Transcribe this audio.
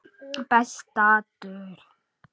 Besta dul